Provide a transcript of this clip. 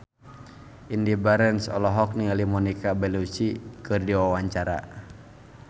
Indy Barens olohok ningali Monica Belluci keur diwawancara